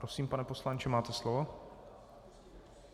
Prosím, pane poslanče, máte slovo.